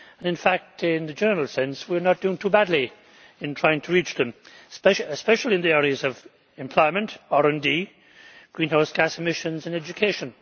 In fact, in the general sense, we are not doing too badly in trying to reach them, especially in the areas of employment, RD, greenhouse gas emissions and education.